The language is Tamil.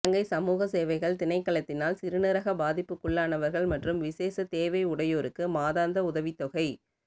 இலங்கை சமூக சேவைகள் திணைக்களத்தினால் சிறுநீரக பாதிப்புக்குள்ளானவர்கள் மற்றும் விசேட தேவை உடையோருக்கு மாதந்த உதவித்தொகை